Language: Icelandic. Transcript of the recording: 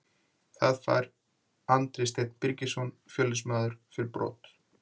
Það fær Andri Steinn Birgisson Fjölnismaður fyrir brot.